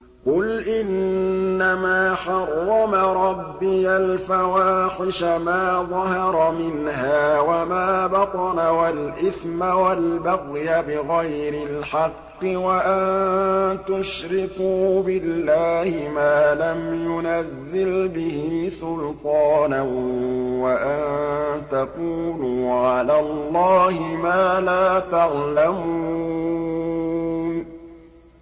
قُلْ إِنَّمَا حَرَّمَ رَبِّيَ الْفَوَاحِشَ مَا ظَهَرَ مِنْهَا وَمَا بَطَنَ وَالْإِثْمَ وَالْبَغْيَ بِغَيْرِ الْحَقِّ وَأَن تُشْرِكُوا بِاللَّهِ مَا لَمْ يُنَزِّلْ بِهِ سُلْطَانًا وَأَن تَقُولُوا عَلَى اللَّهِ مَا لَا تَعْلَمُونَ